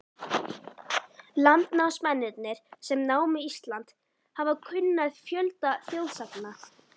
Landnámsmennirnir, sem námu Ísland, hafa kunnað fjölda þjóðsagna.